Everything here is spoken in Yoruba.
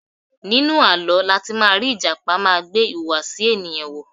Nínú àlọ́ láti má rí Ìjàpá má gbé ìhùwàsí ènìyàn wọ̀.